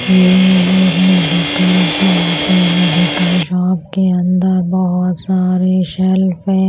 ये एक medical shop है मेडिकल शॉप के अंदर बहुत सारे शेल्फ --